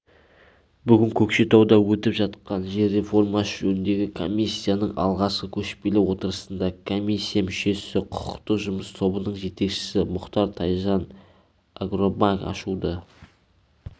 бүгін көкшетауда өтіп жатқан жер реформасы жөніндегі комиссияның алғашқы көшпелі отырысында комиссия мүшесі құқықтық жұмыс тобының жетекшісі мұхтар тайжан агробанк ашуды